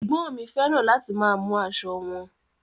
Ẹgbọn mi fẹràn láti máa mú aṣọ wọn.